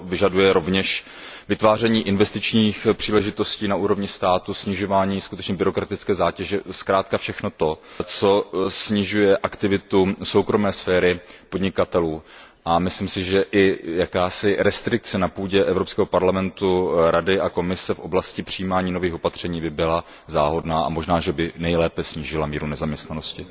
To vyžaduje rovněž vytváření investičních příležitostí na úrovni státu, snižování byrokratické zátěže, zkrátka všeho, co snižuje aktivitu soukromé sféry podnikatelů, a myslím si, že i jakási restrikce na půdě Evropského parlamentu, Rady a Komise v oblasti přijímání nových opatření by byla záhodná a možná, že by nejlépe snížila míru nezaměstnanosti.